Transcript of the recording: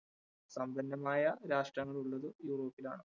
സമ്പന്നമായ രാഷ്ട്രങ്ങൾ ഉള്ളത് യൂറോപ്പിലാണ്.